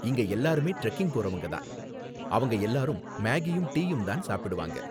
இங்க எல்லாருமே டிரெக்கிங் போறவங்க தான், அவங்க எல்லாரும் மேகியும் டீயும் தான் சாப்பிடுவாங்க.